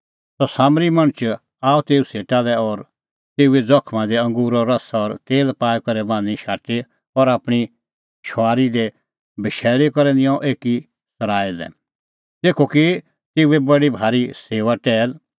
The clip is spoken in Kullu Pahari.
सह सामरी मणछ आअ तेऊ सेटा लै और तेऊए ज़खमा दी अंगूरो रस और तेल पाई करै बान्हीं शाटी और आपणीं शुंआरी दी बशैल़ी करै निंयं एकी सराईं लै तेखअ की तेऊए बडी भारी सेऊआ टैहल